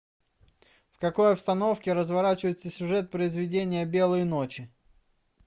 в какой обстановке разворачивается сюжет произведения белые ночи